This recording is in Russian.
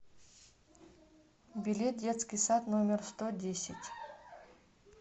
билет детский сад номер сто десять